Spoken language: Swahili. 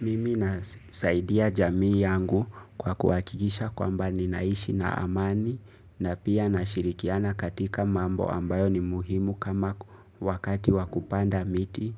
Mimi nasaidia jamii yangu kwa kuwakikisha kwamba ninaishi na amani na pia nashirikiana katika mambo ambayo ni muhimu kama wakati wa kupanda miti.